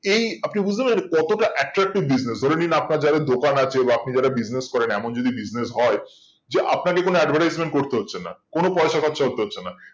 এই আপনি বুজতে পড়েছেন কতটা attractive business ধরেনিন আপনার যাদের দোকান আছে বা আপনি যারা business করেন এমন যদি business হয় যে আপনাকে কোনো advertisement করতে হচ্ছে না কোনো পয়সা খরচা করতে হচ্ছে না